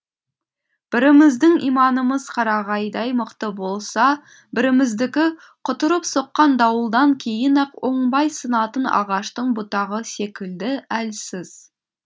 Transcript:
біріміздің иманымыз қарағайдай мықты болса біріміздікі құтырып соққан дауылдан кейін ақ оңбай сынатын ағаштың бұтағы секілді әлсіз